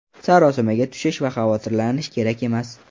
Sarosimaga tushish va xavotirlanish kerak emas.